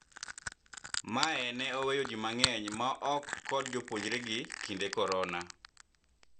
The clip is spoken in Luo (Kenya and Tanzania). mae ne oweyo ji mang'eny maok kod jopuonnjre gi kinde korona